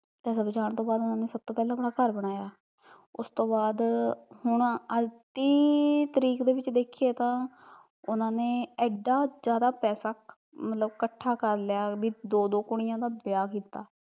ਪੈਸਾ ਬਚਾਉਣ ਤੋਂ ਬਾਦ ਸਭ ਤੋਂ ਪਹਿਲਾਂ ਉਹਨਾਂ ਨੇ ਆਪਣਾ ਘਰ ਬਣਾਇਆ ਉਸਤੋਂ ਬਾਦ, ਹੁਣ ਅੱਜ ਦੀ ਤਰੀਕ ਵਿੱਚ ਦੇਖੀਏ ਤਾਂ ਉਹਨਾਂ ਨੇ ਏਡਾ ਜਿਆਦਾ ਪੈਸਾ ਮਤਲਬ ਕੱਠਾ ਕਰਲਿਆ ਵੀ ਦੋ ਦੋ ਕੁੜੀਆ ਦਾ ਵਿਆਹ ਕੀਤਾ